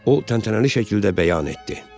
O təntənəli şəkildə bəyan etdi.